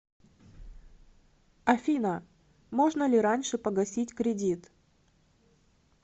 афина можно ли раньше погасить кредит